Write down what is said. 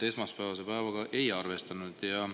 Esmaspäevase päevaga me ei arvestanud.